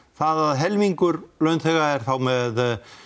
að helmingur launþega er þá með